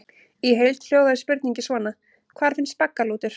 Í heild hljóðaði spurningin svona: Hvar finnst baggalútur?